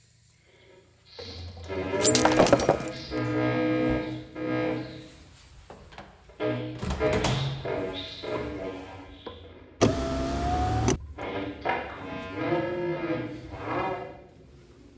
Stuðningsmennirnir ykkar stóðu sig vel, ertu ánægður með þá?